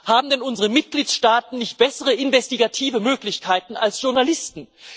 Haben denn unsere Mitgliedstaaten nicht bessere investigative Möglichkeiten als Journalisten?